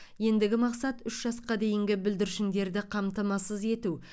ендігі мақсат үш жасқа дейінгі бүлдіршіндері қамтамасыз ету